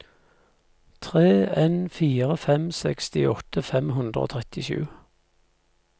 tre en fire fem sekstiåtte fem hundre og trettisju